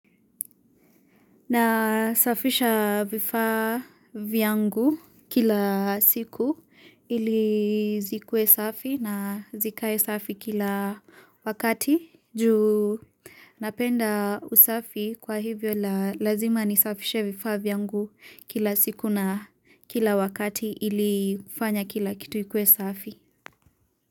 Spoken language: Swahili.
Nasafisha vifaa vyangu kila siku ili zikuwe safi na zikae safi kila wakati juu napenda usafi kwa hivyo lazima nisafishe vifaa vyangu kila siku na kila wakati ili kufanya kila kitu ikuwe safi.